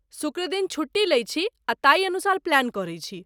शुक्र दिन छुट्टी लै छी आ ताही अनुसार प्लान करै छी।